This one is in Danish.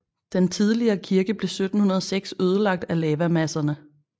Den tidligere kirke blev 1706 ødelagt af lavamasserne